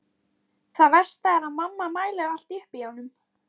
Það versta er að mamma mælir allt upp í honum.